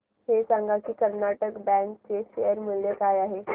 हे सांगा की कर्नाटक बँक चे शेअर मूल्य काय आहे